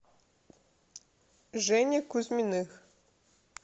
жене кузьминых